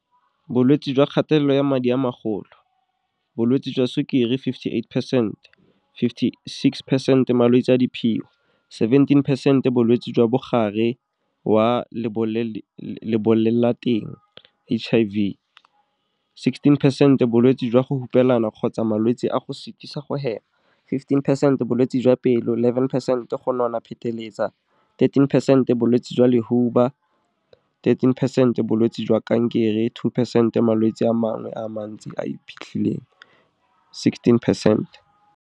Bolwetse jwa kgatelelo ya madi a magolo, Bolwetse jwa Sukiri fifty-eight percent, 56 percent Malwetse a diphio, 17 percent Bolwetse jwa Mogare wa Lebolelateng, HIV, 16 percent Bolwetse jwa go hupelana kgotsa malwetse a go sitisa go hema, 15percent Bolwetse jwa pelo, 11 percent Go nona pheteletsa, 13 percent Bolwetse jwa lehuba, 13 percent Bolwetse jwa kankere, 2 percent Malwetse a mangwe a mantsi a a iphitlhileng, 16 percent.